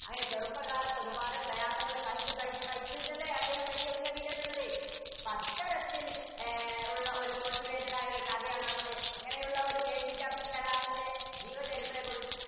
അങ്ങനെ ചെറുപ്പകാലത്ത് ഒരുപാട് പ്രയാസങ്ങള് സഹിച്ച് സഹിച്ച് സഹിച്ചിട്ടല്ലേ അദ്ദേഹം വലിയ ഉന്നതിയിലെത്തുന്നത്. അത്തരത്തില്‍ അഹ് ഉള്ള ഒരു motivated ആയൊരു കഥയാണ്‌ നമ്മുടെ ഇങ്ങനെയുള്ള ഒരു APJ അബ്ദുള്‍കലാമിന്‍ടെ ജീവചരിത്രേ കുറി~